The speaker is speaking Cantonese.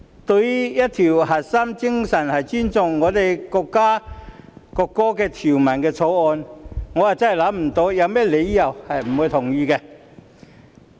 對於一項核心精神是尊重國家國歌的《條例草案》，我真的想不到有甚麼理由不同意。